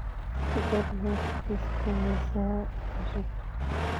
ku dar hees liiska heesaha cusub